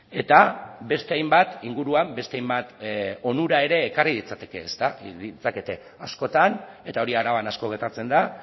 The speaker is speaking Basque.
eta beste hainbat inguruan beste hainbat onura ere ekarri litzakete askotan eta hori araban asko gertatzen da